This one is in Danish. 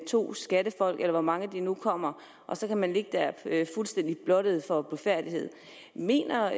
to skattefolk eller hvor mange de nu kommer og så kan man ligge der fuldstændig blottet og blufærdighed mener